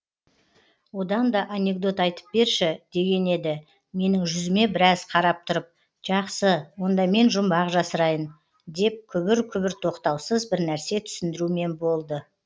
одан да анекдот айтып берші деген еді менің жүзіме біраз қарап тұрып жақсы онда мен жұмбақ жасырайын деп күбір күбір тоқтаусыз бірнәрсе түсіндірумен болды